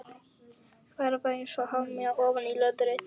Var ekkert að ljóstra upp um hrakfarirnar utan á húsveggnum.